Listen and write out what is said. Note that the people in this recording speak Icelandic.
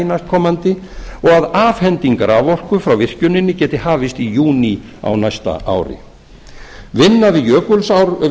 næstkomandi og afhending raforku frá virkjuninni geti hafist í júní á næsta ári vinna